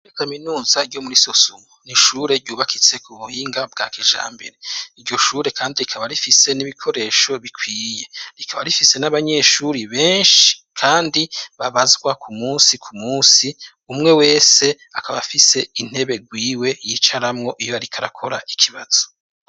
Iri ni kaminuza ryo muri sosumo, n'ishure ryubakitse ku buhinga bwa kijambere, iryo shure kandi rikaba rifise n'ibikoresho bikwiye rikaba rifise n'abanyeshuri benshi kandi babazwa ku munsi ku munsi umwe wese akaba, afise intebe gwiwe yicaramwo iyo arik' akora ikibazo.